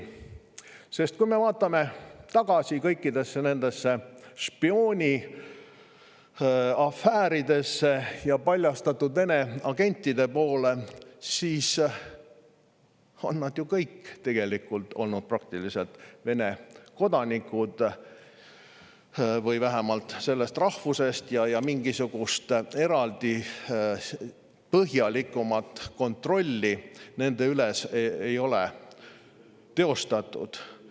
Sest vaatame kõiki neid spiooniafääre ja paljastatud Vene agente: praktiliselt kõik on nad ju olnud Vene kodanikud või vähemalt sellest rahvusest, ja mingisugust eraldi põhjalikumat kontrolli nende üle ei ole olnud.